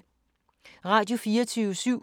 Radio24syv